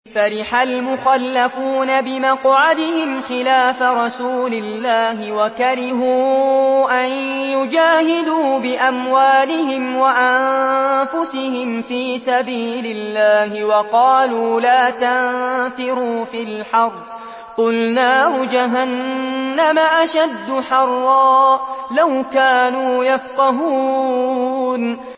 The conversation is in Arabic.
فَرِحَ الْمُخَلَّفُونَ بِمَقْعَدِهِمْ خِلَافَ رَسُولِ اللَّهِ وَكَرِهُوا أَن يُجَاهِدُوا بِأَمْوَالِهِمْ وَأَنفُسِهِمْ فِي سَبِيلِ اللَّهِ وَقَالُوا لَا تَنفِرُوا فِي الْحَرِّ ۗ قُلْ نَارُ جَهَنَّمَ أَشَدُّ حَرًّا ۚ لَّوْ كَانُوا يَفْقَهُونَ